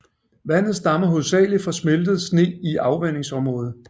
Vandet stammer hovedsageligt fra smeltet sne i afvandingsområdet